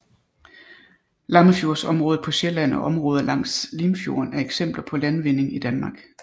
Lammefjordsområdet på Sjælland og områder langs Limfjorden er eksempler på landvinding i Danmark